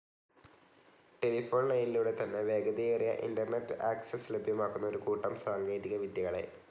Telephone ലൈനിലൂടെ തന്നെ വേഗതയേറിയ ഇന്റർനെറ്റ്‌ ആക്സസ്‌ ലഭ്യമാക്കുന്ന ഒരു കൂട്ടം സാങ്കേതിക വിദ്യകളെ.